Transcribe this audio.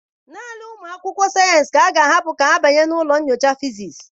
Naanị ụmụ akwụkwọ sayensị ka a ga-ahapụ ka ha banye na ụlọ nyocha fizis.